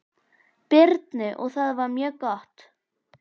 Birnu og það var mjög gott.